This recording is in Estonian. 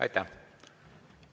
Aitäh!